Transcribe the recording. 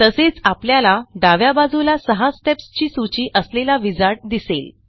तसेच आपल्याला डाव्या बाजूला सहा स्टेप्स ची सूची असलेला विझार्ड दिसेल